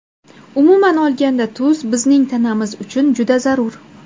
Umuman olganda tuz bizning tanamiz uchun juda zarur.